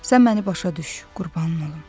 Sən məni başa düş, qurbanın olum.